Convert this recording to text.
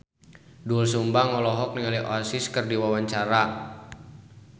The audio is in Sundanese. Doel Sumbang olohok ningali Oasis keur diwawancara